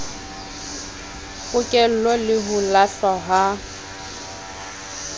pokello le ho lahlwa ha